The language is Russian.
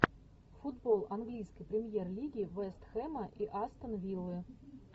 футбол английской премьер лиги вест хэма и астон виллы